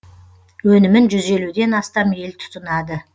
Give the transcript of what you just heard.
өнімін жүз елуден астам ел тұтынады